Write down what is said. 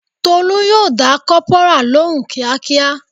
Tolu yo da kopara lóhùn kíákíá